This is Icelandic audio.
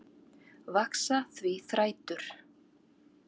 Vaxa því þrætur